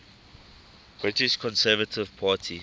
british conservative party